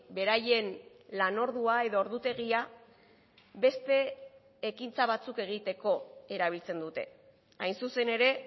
beraien lan ordua edo ordutegia beste ekintza batzuk egiteko erabiltzen dute hain zuzen ere